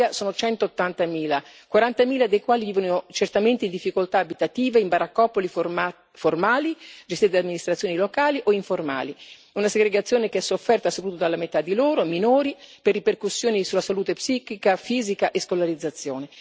In Italia sono 180 mila, 40 mila dei quali vivono, certamente, in difficoltà abitative, in baraccopoli formali, gestite da amministrazioni locali, o informali, una segregazione che è sofferta soprattutto dalla metà di loro, i minori, per ripercussioni sulla salute psicofisica e sulla scolarizzazione.